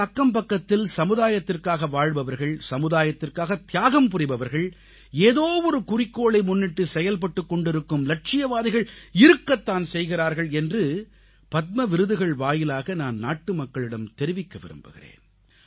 நமது அக்கம்பக்கத்தில் சமுதாயத்திற்காக வாழ்பவர்கள் சமுதாயத்திற்காகத் தியாகம் புரிபவர்கள் ஏதோவொரு குறிக்கோளை முன்னிட்டு செயல்பட்டுக் கொண்டிருக்கும் லட்சியவாதிகள் இருக்கத் தான் செய்கிறார்கள் என்று பத்ம விருதுகள் வாயிலாக நான் நாட்டுமக்களிடம் தெரிவிக்க விரும்புகிறேன்